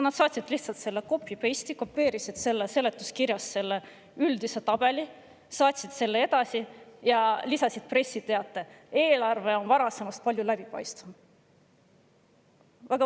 " Nad saatsid selle üldise tabeli, mis oli seletuskirjast kopeeritud, ja lisasid pressiteate: "Eelarve on varasemast palju läbipaistvam.